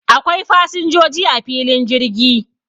Akwai fasin joji a filin jirgi